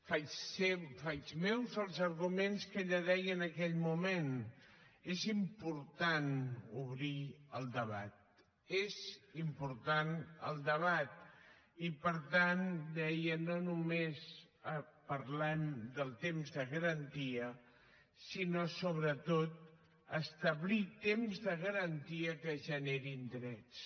faig meus els arguments que ella deia en aquell moment és important obrir el debat és important el debat i per tant deia no només parlem del temps de garantia sinó sobretot d’establir temps de garantia que generin drets